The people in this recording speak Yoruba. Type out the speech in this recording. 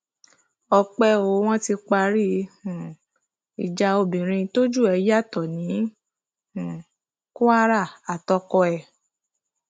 ọpẹ o wọn ti parí um ìjà obìnrin tójú ẹ yàtọ ní um kwara àtọkọ ẹ